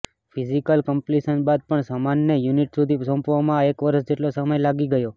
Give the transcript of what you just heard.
physical completion બાદ પણ સામાનને યૂનિટ સુધી સોંપવામાં એક વર્ષ જેટલો સમય લાગી ગયો